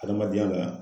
Adamadenya la